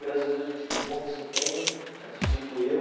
Graças a Deus eu tive um bom desempenho, acredito eu.